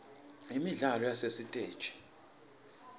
imidlalo yasesitegi